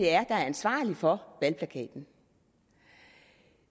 er ansvarlig for valgplakaten